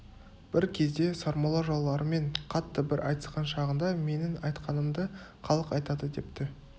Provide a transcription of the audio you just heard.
бір кезде сармолла жауларымен қатты бір айтысқан шағында менің айтқанымды халық айтады депті